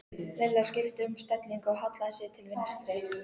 Lilla skipti um stellingu og hallaði sér til vinstri.